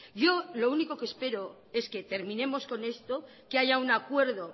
yo lo único que espero es que terminemos con esto que haya un acuerdo